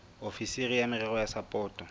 ofisiri ya merero ya sapoto